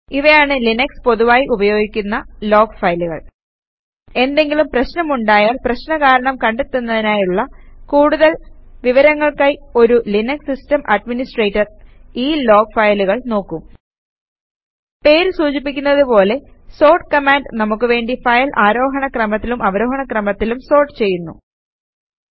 ഇവയാണ് ലിനക്സിൽ പൊതുവായി ഉപയോഗിയ്ക്കുന്ന ലോഗ് ഫയലുകൾ എന്തെങ്കിലും പ്രശ്നമുണ്ടായാൽ പ്രശ്ന കാരണം കണ്ടെത്തുന്നതിനായുള്ള കൂടുതൽ വിവരങ്ങൾക്കായി ഒരു ലിനക്സ് സിസ്റ്റം അഡ്മിനിസ്ട്രേറ്റർ ഈ ലോഗ് ഫയലുകൾ നോക്കും പേര് സൂചിപ്പിക്കുന്നത് പോലെ സോർട്ട് കമാൻഡ് നമുക്ക് വേണ്ടി ഫയൽ ആരോഹണ ക്രമത്തിലും അവരോഹണ ക്രമത്തിലും സോർട്ട് ചെയ്യുന്നു